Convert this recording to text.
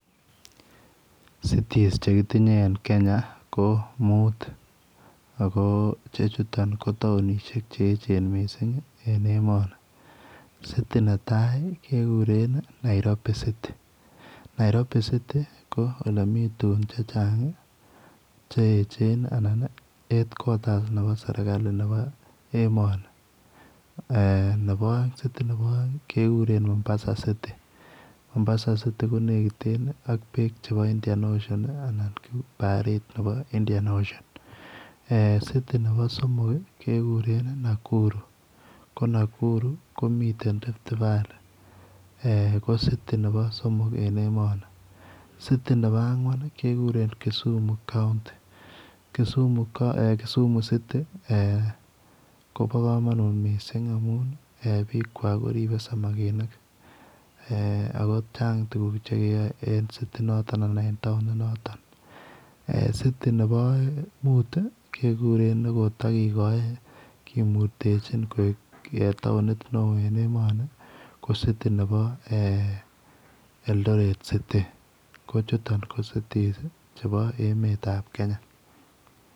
Cities chekitinye en Kenya ko mut ako ichechuto ko taonishiek cheyechen mising en emoni sit-in netai kekuren Nairobi Citi ako Nairobi city Kole yelemi tugug chechang cheyechen anan head quarters Nebo serikali Nebo emoni city Nebo aeng kekuren Mombasa cutie Mombasa Citi konekitenb ak bek chebo Indian ocion anan ko barit Nebo India oceon city Nebo somok kekuren Nakuru ko Nakuru komiten rifti valley ko Citi Nebo somok en emoni city Nebo angwan Kisumu counti Kisumu Citi ko ba kamanut mising amun bi kwak komiten koibe samakinik akochanga tuguk chekeribe en taonit noton mu kekuren nikotakikoin kemurtechinbkoik taoni neon ko Citi Nebo Eldoret Citi ko chuton ko cities chebonebo emet ab kenya